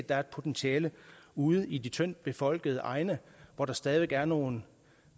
der er et potentiale ude i de tyndt befolkede egne hvor der stadig væk er nogle